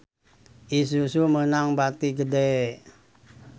Isuzu meunang bati gede